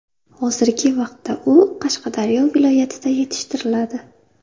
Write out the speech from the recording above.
Hozirgi vaqtda u Qashqadaryo viloyatida yetishtiriladi.